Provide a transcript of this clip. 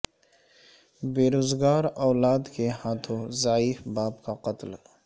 بے روزگار اولاد کے ہاتھوں ضعیف باپ کا قتل